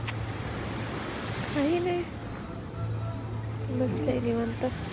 काही नाही बसलेय निवांत.